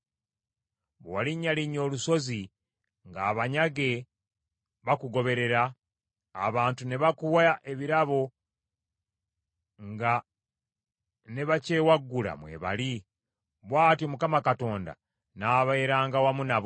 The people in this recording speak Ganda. Bwe walinnyalinnya olusozi, ng’abanyage bakugoberera; abantu ne bakuwa ebirabo nga ne bakyewaggula mwebali; bw’atyo Mukama Katonda n’abeeranga wamu nabo.